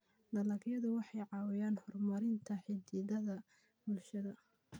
Dalagyadu waxay caawiyaan horumarinta xidhiidhada bulshada.